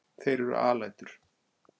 Þeir eru alætur.